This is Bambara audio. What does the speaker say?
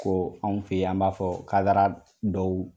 Ko anw fɛ yan , an b'a fɔ kadara dɔw